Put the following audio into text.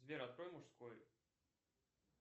сбер открой мужской